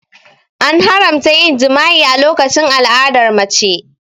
An haramta yin jima'i a lokacin al'adar mace.